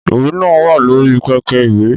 Ìwé náà wà lórí pẹpẹ ìwé